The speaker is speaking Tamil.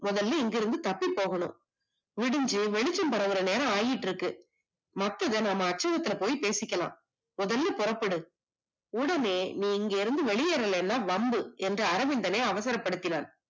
முதல்ல இங்கிருந்து தப்பி போகணும் விடிஞ்சு வெளிச்சம் வர்ற நேரம் ஆகிட்டு இருக்கு மத்தத அப்புறம் போய் பேசிக்கலாம் முதல்ல புறப்படு முதல்ல இங்கிருந்து நீ வெளியேறவில்லை என்றால் வம்பு என்று அரவிந்தனை அவசரப்படுத்தினான்